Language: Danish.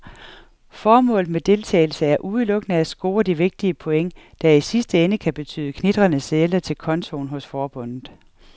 Formålet med deltagelse er udelukkende at score de vigtige point, der i sidste ende kan betyde knitrende sedler til kontoen hos forbundet.